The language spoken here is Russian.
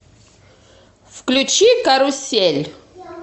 включи карусель